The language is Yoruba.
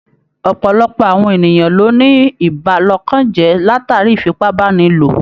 Ọ̀pọ̀lọpọ̀ àwọn ènìyàn ló ní ìbàlọ́kànjẹ́ látàrí ìfipábánilò.